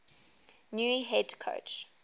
new head coach